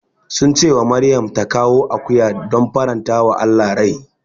Sun ce wa Maryam ta kawo akuya don farantawa Allah rai.